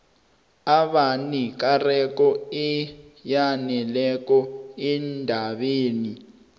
abanekareko eyaneleko endabeni